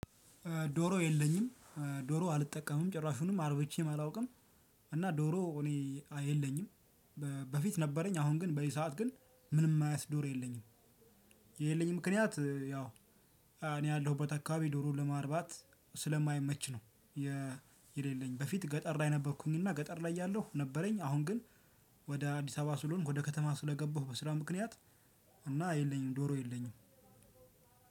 ዶሮ የለኝም። ዶሮ አልጠቀምም ጭራሹንም አርብቼም አላውቅም። እና ዶሮ እኔ የለኝም። በፊት ነበረኝ አሁን ግን በዚህ ሰዓት ግን ምንም አይነት ዶሮ የለኝም። የሌለኝ ምክንያት ያው እኔ ያለሁበት አካባቢ ዶሮ ለማርባት ስለማይመች ነው። በፊት ገጠር ላይ ነበርኩኝ እና ገጠር ላይ እያለሁ ነበረኝ። አሁን ግን ወደ አዲስ አበባ ስለሆንኩ ወደ ከተማ ስለገባሁ በስራ ምክንያት እና የለኝም ዶሮ የለኝም።